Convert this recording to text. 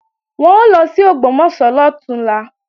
Wọ́n ń lọ sí Ògbómọ̀ṣọ́ lọ̀túnla